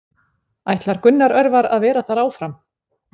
Ætlar Gunnar Örvar að vera þar áfram?